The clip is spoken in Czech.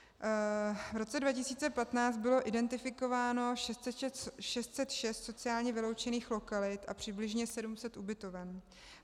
V roce 2015 bylo identifikováno 606 sociálně vyloučených lokalit a přibližně 700 ubytoven.